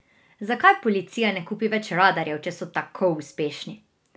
Zakaj policija ne kupi več radarjev, če so tako uspešni?